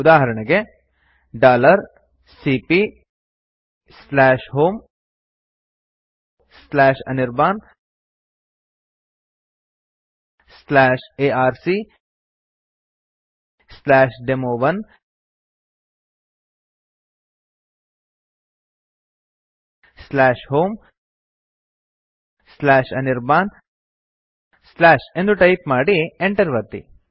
ಉದಾಹರಣೆಗೆ ಸಿಪಿಯ homeanirbanarcdemo1 homeanirban ಎಂದು ಟೈಪ್ ಮಾಡಿ enter ಒತ್ತಿ